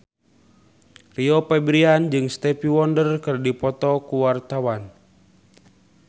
Rio Febrian jeung Stevie Wonder keur dipoto ku wartawan